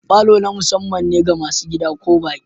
Falo na musamman ga masu gida ko baƙi.